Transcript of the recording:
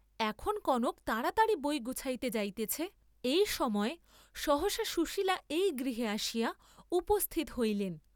এখন কনক তাড়াতাড়ি বই গুছাইতে যাইতেছে, এই সময় সহসা সুশীলা এই গৃহে আসিয়া উপস্থিত হইলেন।